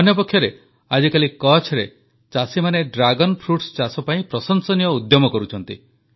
ଅନ୍ୟପକ୍ଷରେ ଆଜିକାଲି କଚ୍ଛରେ ଚାଷୀମାନେ ଡ୍ରାଗନ୍ ଫ୍ରୁଟସ୍ ଚାଷ ପାଇଁ ପ୍ରଶଂସନୀୟ ଉଦ୍ୟମ କରୁଛନ୍ତି